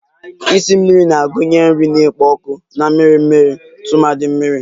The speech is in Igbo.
Esi mmiri na-agụnye nri na-ekpo ọkụ na mmiri mmiri tumadi mmiri